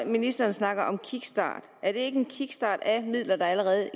ministeren snakker om kickstart er ikke en kickstart af midler der allerede